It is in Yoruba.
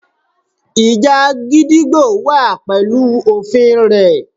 Ìjà gídígbò wà pẹ̀lú òfin rẹ̀.